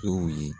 Tow ye